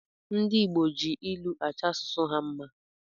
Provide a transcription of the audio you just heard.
Ndi Igbo ji ilụ achọ asụsụ ha mma